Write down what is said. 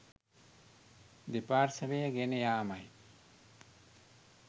දෙපාර්ශ්වය ගෙන යාමයි